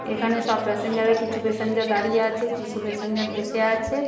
এখানে সব প্যাসেঞ্জাররা কিছু প্যাসেঞ্জার দাঁড়িয়ে আছে। কিসু প্যাসেঞ্জার বসে আছে।